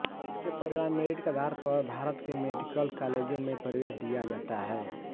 इसके परिणाम मेरिट के आधार पर भारत के मेडिकल कालेजों में प्रवेश दिया जाता है